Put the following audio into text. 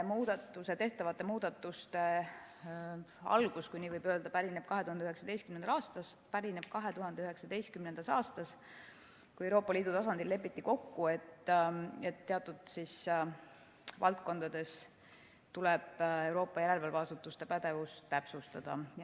Tehtavate muudatuste algus, kui nii võib öelda, pärineb 2019. aastast, kui Euroopa Liidu tasandil lepiti kokku, et teatud valdkondades tuleb Euroopa järelevalveasutuste pädevust täpsustada.